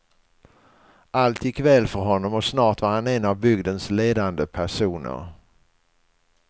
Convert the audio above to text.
Allt gick väl för honom och snart var han en av bygdens ledande personer.